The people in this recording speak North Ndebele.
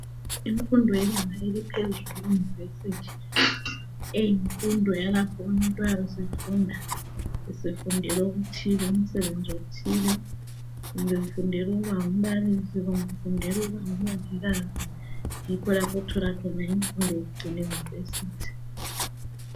Imfundo yebanga eliphezulu iyunivesithi eyifundo yalapha umuntu eyabe eefunda esefundela umsebenzi othile kumbe ufundela ukuba ngumbalisi kumbe ufundela ukuba ngumongikazi yikho lapha othola khona imfundo yokucina eyunivesithi.